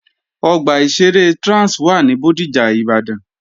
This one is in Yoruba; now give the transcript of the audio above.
Ọgbà ìṣeré Trans wà ní Bódìjà, Ìbàdàn